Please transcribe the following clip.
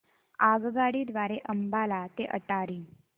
आगगाडी द्वारे अंबाला ते अटारी